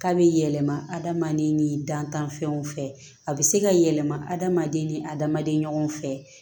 K'a bɛ yɛlɛma adamaden ni dantanfɛnw fɛ a bɛ se ka yɛlɛma adamaden ni adamaden ɲɔgɔn fɛ